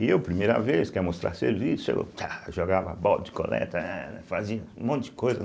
E eu, primeira vez, quer mostrar serviço, aí eu txa jogava a bola de coleta, fazia um monte de coisa.